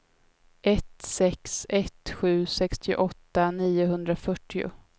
ett sex ett sju sextioåtta niohundrafyrtio